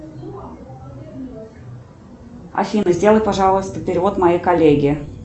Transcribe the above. афина сделай пожалуйста перевод моей коллеге